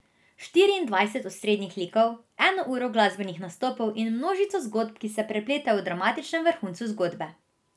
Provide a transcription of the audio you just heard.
Štiriindvajset osrednjih likov, eno uro glasbenih nastopov in množico zgodb, ki se prepletejo v dramatičnem vrhuncu zgodbe.